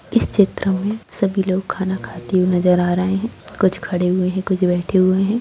इस चित्र में सभी लोग खाना खाते हुए नज़र आ रहें हैं कुछ खड़े हुए हैं कुछ बैठे हुए हैं।